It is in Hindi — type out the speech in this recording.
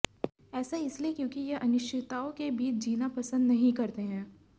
ऐसा इसलिए क्योंकि यह अनिश्चितताओं के बीच जीना पसंद नहीं करते हैं